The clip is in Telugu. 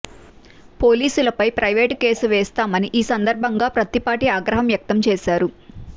పోలీసులపై ప్రైవేటు కేసు వేస్తామని ఈ సందర్భంగా పత్తిపాటి ఆగ్రహం వ్యక్తం చేశారు